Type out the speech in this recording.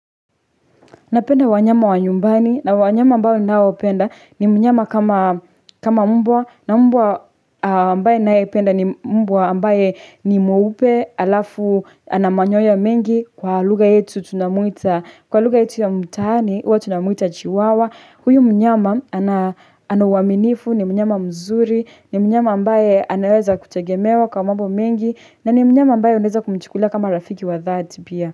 Na penda wanyama wa nyumbani na wanyama ambayo nao penda ni mnyama kama mbwa na mbwa ambaye naependa ni mbwa ambaye ni mweupe alafu ana manyoya mengi kwa lugha yetu tunamuita kwa luga yetu ya mtaani uwa tunamuita chiwawa huyu mnyama ana uaminifu ni mnyama mzuri ni mnyama ambaye anaweza kutegemewa kwa mwambo mingi na ni mnyama ambaye uneza kumchukulia kama rafiki wa dhati pia.